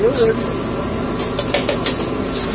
Eu, ele, outro irmão e minha mãe.